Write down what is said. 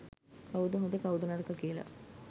කවුද හොඳ කවුද නරක කියලා.